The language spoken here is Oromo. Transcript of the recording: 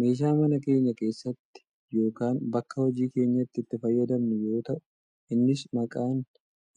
meeshaa mana keenya keessatti yookaan bakka hojii keenyaatti itti fayyadamnu yoo ta'u innis kan maqaan